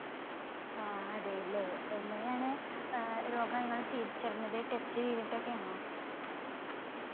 ആ അതെ ല്ലേ. എങ്ങനെയാണ് ഏർ രോഗം ഇങ്ങള് തിരിച്ചറിഞ്ഞത് test ചെയ്തിട്ടൊക്കെ ആണോ